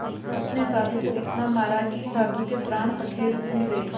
उसने साधु को इतना मारा कि साधु के प्राण पखेरु उड़ गए